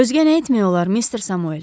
Özgə nə etmək olar mister Samuel?